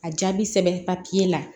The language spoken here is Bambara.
A jaabi sɛbɛn papiye la